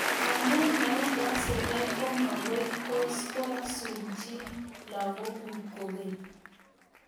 Amuu maigase kei komakoi kasuun chii lagok kuuk kokeny